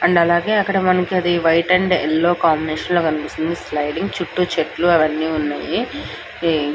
And మనకి అక్కడ మనకి అది వైట్ అండ్ యెల్లో కాంబినేషన్ లో కనిపిస్తుంది స్లీడింగ్ . చుట్టు చెట్లు అవి అని ఉన్నాయి. ఈ --